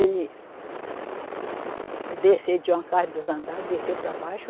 Ele, desceu, tinha uma casa de dois andares, desceu para baixo,